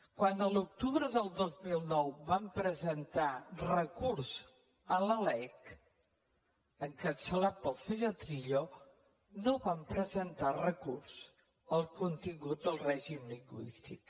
quan a l’octubre del dos mil nou van presentar recurs a la lec encapçalat pel senyor trillo no van presentar recurs al contingut del règim lingüístic